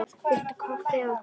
Viltu kaffi eða te?